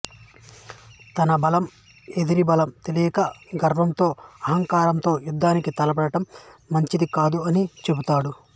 తన బలం ఎదిరి బలం తెలియక గర్వంతో అహంకరంతో యుద్ధానికి తలపడటం మంచిది కాదు అని చెబుతాడు